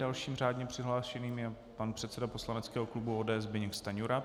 Dalším řádně přihlášeným je pan předseda poslaneckého klubu ODS Zbyněk Stanjura.